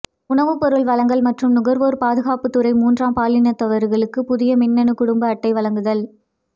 உணவுப் பொருள் வழங்கல் மற்றும் நுகா்வோா் பாதுகாப்புத் துறை மூன்றாம் பாலினத்தவா்களுக்கு புதிய மின்னணு குடும்ப அட்டை வழங்குதல்